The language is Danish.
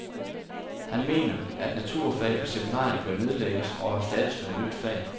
Han mener, at naturfag på seminariet bør nedlægges og erstattes med et nyt fag.